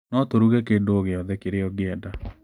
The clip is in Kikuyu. No tũruge kĩndũ o gĩothe kĩrĩa ũngĩenda.